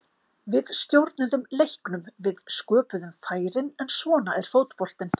Við stjórnuðum leiknum, við sköpuðum færin, en svona er fótboltinn.